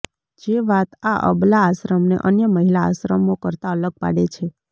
જે વાત આ અબલા આશ્રમને અન્ય મહિલા આશ્રમો કરતાં અલગ પાડે છે